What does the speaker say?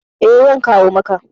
Eh zan kawo maka.